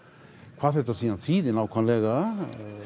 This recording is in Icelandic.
hvað þetta síðan þýðir nákvæmlega